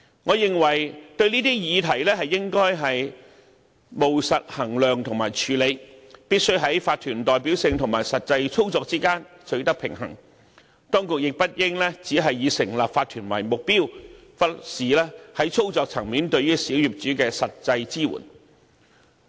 我認為對這些議題應務實衡量和處理，必須在法團的代表性和實際操作之間取得平衡，當局亦不應只是以成立法團為目標，而忽視在操作層面對小業主的實際支援。